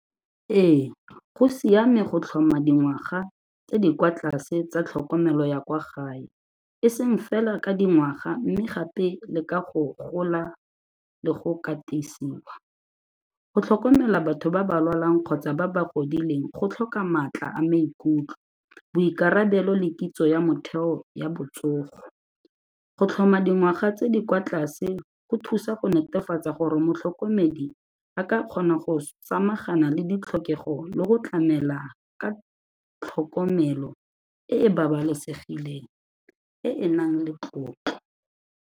Ee, go siame go tlhoma dingwaga tse di kwa tlase tsa tlhokomelo ya kwa gae, e seng fela ka dingwaga mme gape le ka go gola le go katisiwa. Go tlhokomela batho ba ba lwalang kgotsa ba ba godileng go tlhoka maatla a maikutlo, boikarabelo le kitso ya motheo ya botsogo. Go tlhoma dingwaga tse di kwa tlase go thusa go netefatsa gore motlhokomedi a ka kgona go samagana le ditlhokego le go tlamela ka tlhokomelo e e babalesegileng e e nang le tlotlo.